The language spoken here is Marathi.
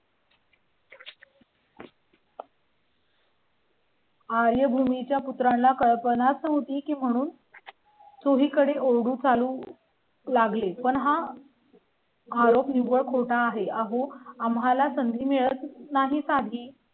आर्यभूमी च्या पुत्राला कल्पना होती की म्हणून. चोहीकडे उर्दू चालू. लागले पण हा. घरात निव्वळ खोटा आहे आहो आम्हाला संधी